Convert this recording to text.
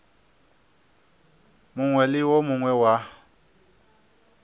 mongwe le wo mongwe wa